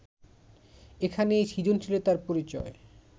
এখানেই সৃজনশীলতার পরিচয়